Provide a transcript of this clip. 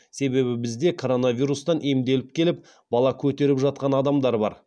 себебі бізде коронавирустан емделіп келіп бала көтеріп жатқан адамдар бар